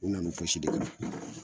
U na be fosi dɔn.